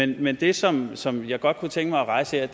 det men det som som jeg godt kunne tænke mig at rejse her